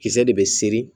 Kisɛ de bɛ seri